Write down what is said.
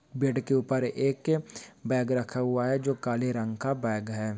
Bed के ऊपर एक बॅग रखा हुआ है जो काले रंग का बॅग है।